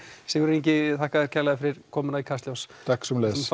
Sigurður Ingi takk fyrir komuna í Kastljós takk sömuleiðis